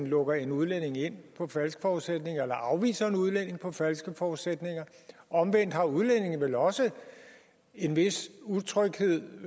lukker en udlænding ind på falske forudsætninger eller afviser en udlænding på falske forudsætninger omvendt har udlændinge vel også en vis utryghed